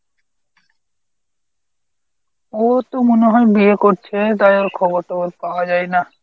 ও তো মনে হয় বিয়ে করছে তাই ওর খবর টবর পাওয়া যায় না।